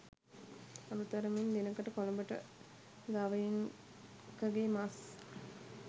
අඩු තරමින් දිනකට කොළඹට ගවයින් ක ගේ මස්